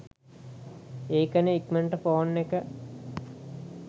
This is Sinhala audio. ඒකනේ ඉක්මනට ෆෝන් එක